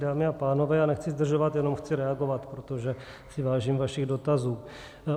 Dámy a pánové, já nechci zdržovat, jenom chci reagovat, protože si vážím vašich dotazů.